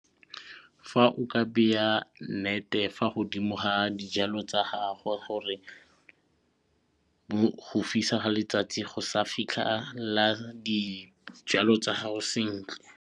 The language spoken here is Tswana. Fa o ka beya net-e fa godimo ga dijalo tsa gago gore bo go fisa ga letsatsi go sa fitlhela dijalo tsa gago sentle.